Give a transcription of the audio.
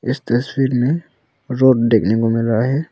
इस तस्वीर में रोड देखने को मिल रहा है।